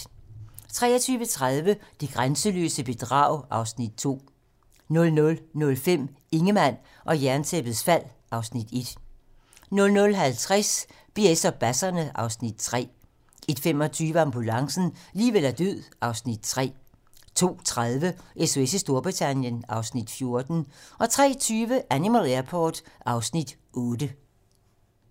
23:30: Det grænseløse bedrag (Afs. 2) 00:05: Ingemann og Jerntæppets fald (Afs. 1) 00:50: BS og basserne (Afs. 3) 01:25: Ambulancen - liv eller død (Afs. 3) 02:30: SOS i Storbritannien (Afs. 14) 03:20: Animal Airport (Afs. 8)